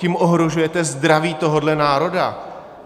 Tím ohrožujete zdraví tohoto národa!